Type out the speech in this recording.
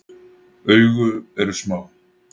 Augu eru smá.